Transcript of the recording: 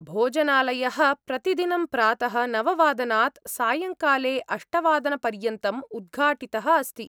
भोजनालयः प्रतिदिनं प्रातः नव वादनात्, सायङ्काले अष्टवादनपर्यन्तम् उद्घाटितः अस्ति।